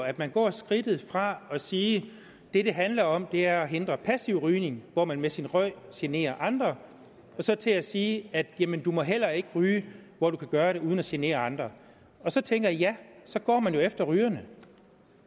at man går skridtet fra at sige at det det handler om er at hindre passiv rygning hvor man med sin røg generer andre og så til at sige jamen du må heller ikke ryge hvor du kan gøre det uden at genere andre og så tænker jeg ja så går man jo efter rygerne